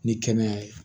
Ni kɛnɛya ye